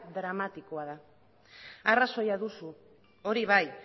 dramatikoa da arrazoia duzu hori bai